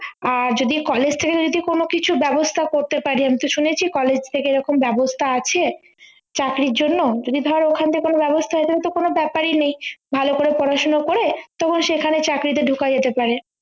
আহ যদি college থেকে যদি কোন কিছু ব্যবস্থা করতে পারে আমি তো শুনেছি college থেকে ওরকম ব্যবস্থা আছে চাকরির জন্য যদি ধর ওখান থেকে কোন ব্যবস্থা হয় তাহলেতো কোনো ব্যাপারই নেই ভালো করে পড়াশোনা করে তখন সেখানে চাকরিতে ঢোকা যেতে পারে